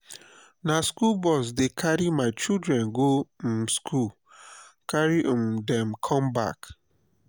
na skool bus dey carry my children go um skool carry um dem com back.